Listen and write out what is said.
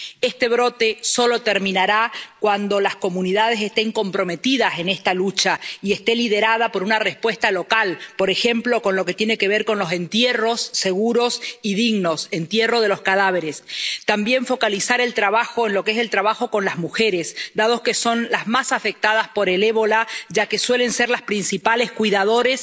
Este brote solo terminará cuando las comunidades estén comprometidas en esta lucha y esta esté liderada por una respuesta local, por ejemplo, en lo que tiene que ver con los entierros seguros y dignos —el entierro de los cadáveres—. También hay que focalizar el trabajo en las mujeres, dado que son las más afectadas por el ébola, ya que suelen ser las principales cuidadoras